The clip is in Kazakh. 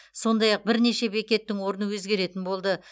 сондай ақ бірнеше бекеттің орны өзгеретін болды